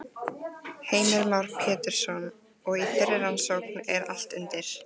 Heimir Már Pétursson: Og í þeirri rannsókn er allt undir?